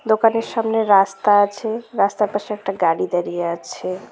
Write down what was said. দোকানের সামনে রাস্তা আছে রাস্তার পাশে একটা গাড়ি দাঁড়িয়ে আছে।